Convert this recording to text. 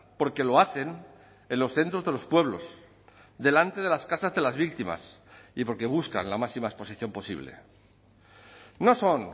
porque lo hacen en los centros de los pueblos delante de las casas de las víctimas y porque buscan la máxima exposición posible no son